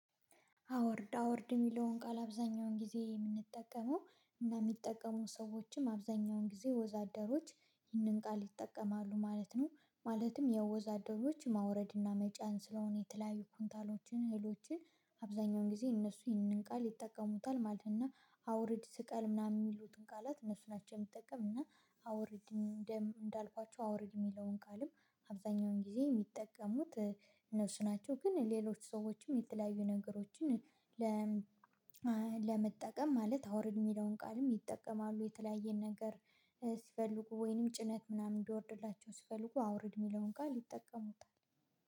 አውርድ አውርድ የሚለውን ቃል አብዛኛውን ጊዜ የምንጠቀመው እንደሚጠቀሙ ሰዎችም አብዛኛውን ጊዜ ወዛደሮች ይህንን ቃል ይጠቀማሉ ማለት ነው። ማለትም የወዛደሮች ማውረድና መጫን ስለሆነ የተለያዩ ኩንታሎችን እህሎችን አብዛኛውን ጊዜ እነሱ ይህንን ቃል ይጠቀሙታል ማለት ነው። እና አ አውርድ ስቀል ምናምን የሚሉትን ቃላት እነሱ ናቸው የምጠቀሙት እና አውርድ እንደም እንዳልኳችሁ አውርድ የሚለውን ቃልም አብዛኛውን ጊዜ የሚጠቀሙት እነሱ ናቸው። ግን ሌሎች ሰዎችም የተለያዩ ነገሮችን ለ ለመጠቀም ማለት አውርድ የሚለውን ቃልም ይጠቀማሉ የተለያየን ነገር ስፈልጉ ወይንም ጭነት ምናምን እንዲወርድላቸው ሲፈልጉ አውርድ የሚለውን ቃል ይጠቀሙታል